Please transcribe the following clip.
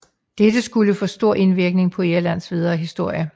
Dette skulle få stor indvirkning på Irlands videre historie